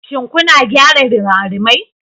Shin kuna gyara rimarimai?